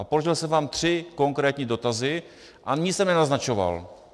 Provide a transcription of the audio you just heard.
A položil jsem vám tři konkrétní dotazy a nic jsem nenaznačoval.